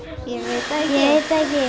ekki